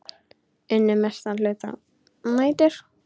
Unnu mestan hluta nætur.